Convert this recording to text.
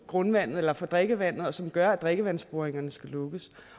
grundvandet eller for drikkevandet og som gør at drikkevandsboringer skal lukkes